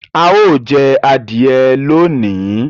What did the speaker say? A yóò jé adìye lóni.